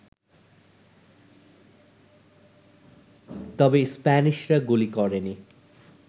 তবে স্প্যানিশরা গুলি করেনি